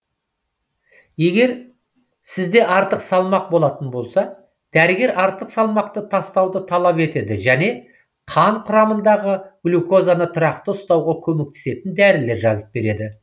егер сізде артық салмақ болатын болса дәрігер артық салмақты тастауды талап етеді және қан құрамындағы глюказаны тұрақты ұстауға көмектесетін дәрілер жазып береді